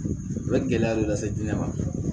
A bɛ gɛlɛya dɔ lase jinɛ ma